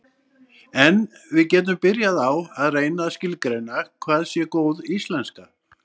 en við getum byrjað á að reyna að skilgreina hvað sé góð íslenska